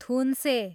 थुन्से